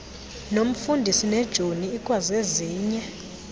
nomfundisi nejoni ikwazezinye